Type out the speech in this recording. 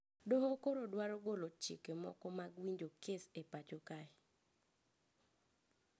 Doho koro dwaro golo chike moko mag winjo kes e pacho kae